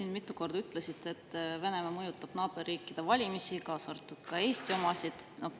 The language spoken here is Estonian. Te mitu korda ütlesite, et Venemaa mõjutab naaberriikide valimisi, kaasa arvatud Eesti omasid.